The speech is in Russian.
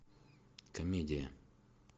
комедия